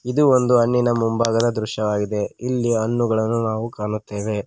ಇದು ಒಂದು ಹಣ್ಣಿನ ಮುಂಭಾಗದ ದೃಶ್ಯವಾಗಿದೆ ಇಲ್ಲಿ ಹಣ್ಣುಗಳನ್ನು ನಾವು ಕಾಣುತ್ತೇವೆ.